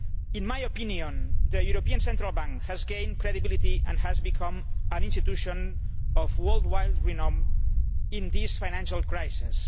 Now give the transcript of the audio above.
In my opinion, the European Central Bank has gained credibility and has become an institution of worldwide renown in this financial crisis.